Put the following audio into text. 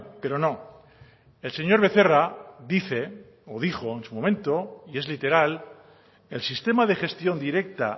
pero no el señor becerra dice o dijo en su momento y es literal el sistema de gestión directa